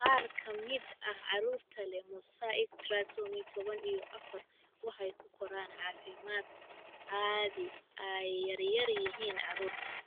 Qaar ka mid ah carruurta leh mosaic trisomy toban iyo afar waxay u koraan caafimaad, haddii ay yar yihiin, carruur.